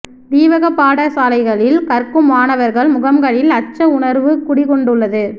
தீவகப் பாடசாலைகளில் கற்கும் மாணவர்கள் முகங்களில் அச்ச உணர்வு குடிகொண்டுள்ளது